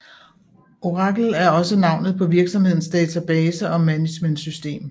Oracle er også navnet på virksomhedens database management system